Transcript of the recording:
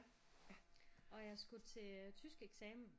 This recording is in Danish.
Og jeg skulle til tyskeksamen